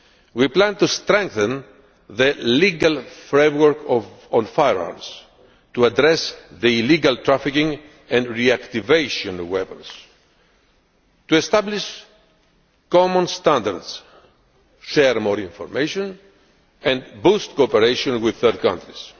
We plan to strength the legal framework on firearms to address the illegal trafficking and reactivation of weapons, to establish common standards, share more information and boost cooperation with third countries.